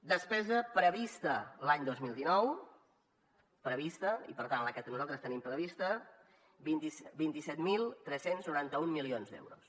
despesa prevista l’any dos mil dinou prevista i per tant la que nosaltres tenim prevista vint set mil tres cents i noranta un milions d’euros